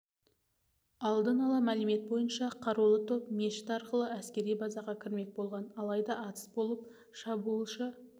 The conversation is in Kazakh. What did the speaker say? алдын ала мәлімет бойынша қарулы топ мешіт арқылы әскери базаға кірмек болған алайда атыс болып шабуылшы